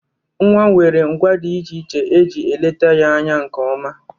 Nwa nwere ngwa dị iche iche e ji eleta ya anya nke ọma.